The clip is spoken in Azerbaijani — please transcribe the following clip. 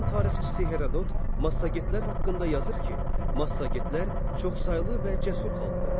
Yunan tarixçisi Herodot Massagetlər haqqında yazır ki, Massagetlər çoxsaylı və cəsur xalqdır.